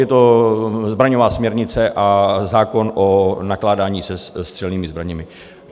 Je to zbraňová směrnice a zákon o nakládání se střelnými zbraněmi.